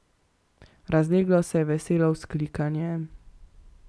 Razleglo se je veselo vzklikanje.